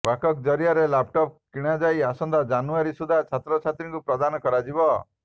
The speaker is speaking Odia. ଓକାକ୍ ଜରିଆରେ ଲାପଟପ୍ କିଣାଯାଇ ଆସନ୍ତା ଜାନୁୟାରୀ ସୁଦ୍ଧା ଛାତ୍ରଛାତ୍ରୀଙ୍କୁ ପ୍ରଦାନ କରାଯିବ